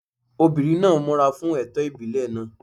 Obìnrin náà múra fún ẹ̀tọ́ ìbílẹ̀ náà.